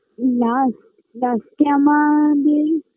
last last -এ আমাদের